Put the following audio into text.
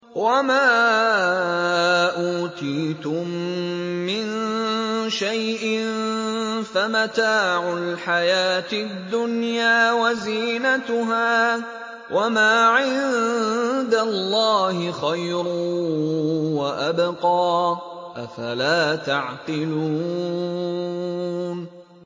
وَمَا أُوتِيتُم مِّن شَيْءٍ فَمَتَاعُ الْحَيَاةِ الدُّنْيَا وَزِينَتُهَا ۚ وَمَا عِندَ اللَّهِ خَيْرٌ وَأَبْقَىٰ ۚ أَفَلَا تَعْقِلُونَ